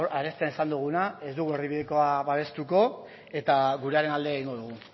arestian esan duguna ez dugu erdi bidekoa babestuko eta gurearen alde egingo dugu